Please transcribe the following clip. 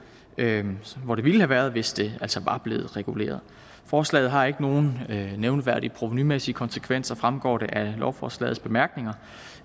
hvor det ville have været hvis det altså var blevet reguleret forslaget har ikke nogen nævneværdige provenumæssige konsekvenser fremgår det af lovforslagets bemærkninger